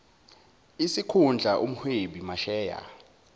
isikhundla umhwebi masheya